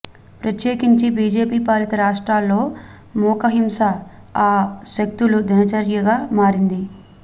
ప్రత్యేకించి బీజేపీ పాలిత రాష్ట్రాల్లో మూకహింస ఆ శక్తుల దినచర్యగా మారింది